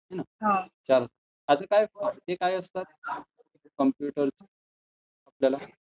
is not clear